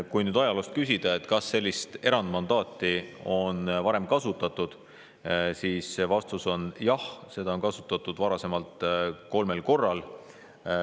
Kui nüüd küsida, kas sellist erandmandaati on varem kasutatud, siis vastus on jah, seda on kasutatud varasemalt kolmel korral.